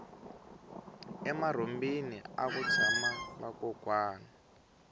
emarhumbini aku tshama vakokwani